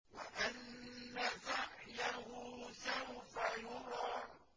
وَأَنَّ سَعْيَهُ سَوْفَ يُرَىٰ